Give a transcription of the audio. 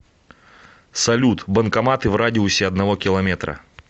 салют банкоматы в радиусе одного километра